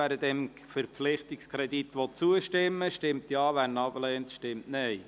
Wer dem Verpflichtungskredit zustimmen will, stimmt Ja, wer diesen ablehnt, stimmt Nein.